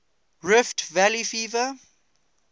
rift valley fever